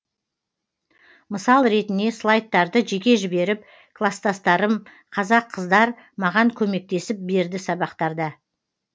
мысал ретіне слайдтарды жеке жіберіп класстастарым қазақ қыздар маған көмектесіп берді сабақтарда